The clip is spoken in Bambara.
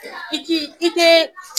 I ki i tɛ